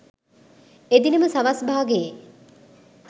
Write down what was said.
එදින ම සවස් භාගයේ